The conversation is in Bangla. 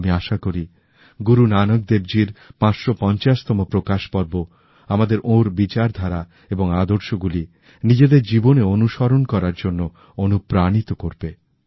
আমি আশা করি গুরু নানক দেবজীর ৫৫0 তম প্রকাশ পর্ব আমাদেরওঁর বিচারধারা এবং আদর্শগুলি নিজেদের জীবনে অনুসরণ করার জন্য অনুপ্রাণিতকরবে